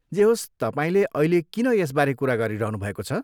जे होस्, तपाईँले अहिले किन यसबारे कुरा गरिरहनुभएको छ?